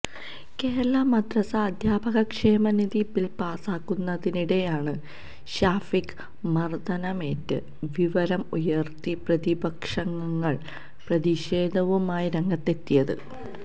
കേരള മദ്രസാ അധ്യാപക ക്ഷേമനിധി ബില് പാസാക്കുന്നതിനിടെയാണ് ഷാഫിക്ക് മര്ദനമേറ്റ വിവരം ഉയര്ത്തി പ്രതിപക്ഷാംഗങ്ങള് പ്രതിഷേധവുമായി രംഗത്തെത്തിയത്